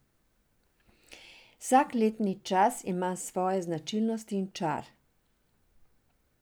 Vsak letni čas ima svoje značilnosti in čar.